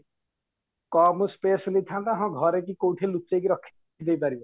କମ space ନେଇଥାନ୍ତା ହଁ ଘରେ କି କଉଠି ଲୁଚେଇକି ରଖି ଦେଇପାରିବ